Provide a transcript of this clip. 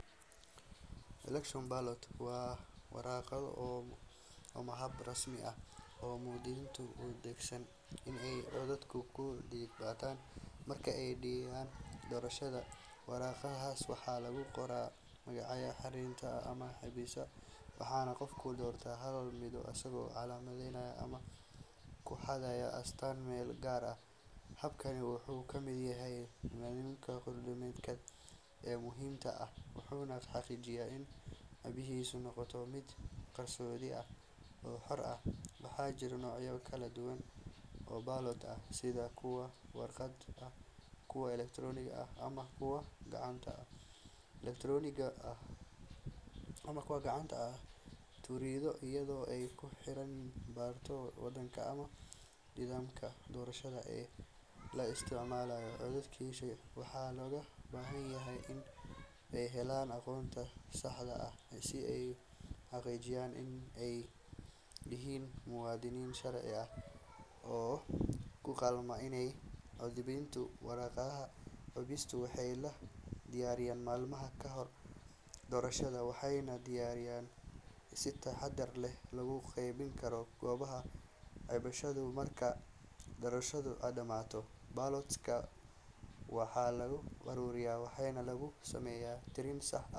Election ballots waa waraaqo ama habab rasmi ah oo muwaadiniintu u adeegsadaan in ay codkooda ku dhiibtaan marka ay dhacayaan doorashooyin. Waraaqahaas waxaa lagu qorayaa magaca musharaxiinta ama xisbiyada, waxaana qofku doortaa hal mid isagoo calaamadeynaya ama ku xardhaya astaan meel gaar ah. Habkani wuxuu ka mid yahay nidaamyada dimuqraadiyadeed ee muhiimka ah, wuxuuna xaqiijiyaa in codbixintu noqoto mid qarsoodi ah oo xor ah. Waxaa jira noocyo kala duwan oo ballots ah sida kuwa warqad ah, kuwa elektaroonik ah, ama kuwo gacanta lagu tiriyo, iyadoo ay ku xirnaan karto waddanka ama nidaamka doorashada ee la isticmaalayo. Codbixiyeyaasha waxaa looga baahan yahay in ay helaan aqoonsi sax ah si ay u xaqiijiyaan in ay yihiin muwaadiniin sharci ah oo u qalma inay cod dhiibtaan. Waraaqaha codbixinta waxaa la diyaariyaa maalmo ka hor doorashada, waxaana si taxaddar leh loogu qeybiyaa goobaha codbixinta. Marka doorashadu dhammaato, ballots-ka waxaa la ururiyaa waxaana lagu sameeyaa tirin sax ah.